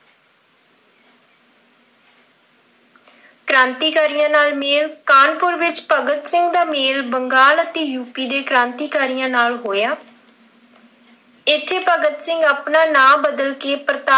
ਕ੍ਰਾਂਤੀਕਾਰੀਆਂ ਨਾਲ ਮੇਲ, ਕਾਹਨਪੁਰ ਵਿੱਚ ਭਗਤ ਸਿੰਘ ਦਾ ਮੇਲ ਬੰਗਾਲ ਅਤੇ ਯੂਪੀ ਦੇ ਕ੍ਰਾਂਤੀਕਾਰੀਆਂ ਨਾਲ ਹੋਇਆ। ਇੱਥੇ ਭਗਤ ਸਿੰਘ ਆਪਣਾ ਨਾਮ ਬਦਲ ਕਿ ਪ੍ਰਤਾਪ ਨਾਮ ਦੇ ਅਖ਼ਬਾਰ ਵਿੱਚ ਕੰਮ ਕਰਦੇ ਰਹੇ।